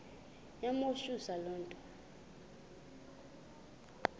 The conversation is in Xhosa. yamothusa le nto